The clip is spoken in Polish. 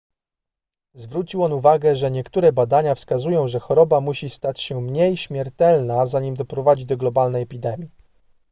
zwrócił on uwagę że niektóre badania wskazują że choroba musi stać się mniej śmiertelna zanim doprowadzi do globalnej epidemii